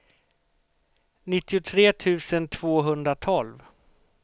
nittiotre tusen tvåhundratolv